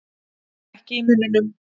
Ekki í munninum.